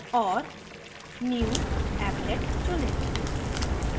और new> applet चुनें